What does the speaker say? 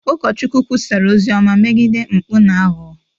Ụkọchukwu kwusara ozi ọma megide mpụ na aghụghọ